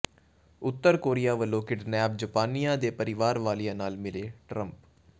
ਉੱਤਰ Korea ਵਲੋਂ kidnap ਜਾਪਾਨੀਆਂ ਦੇ ਪਰਿਵਾਰ ਵਾਲਿਆਂ ਨਾਲ ਮਿਲੇ ਟਰੰਪ